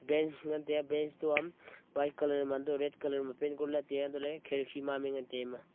banch ngan tai a banch to a white color ma red color ma paint kori lah tai antoh le khiriki mamai ngan tai a ema.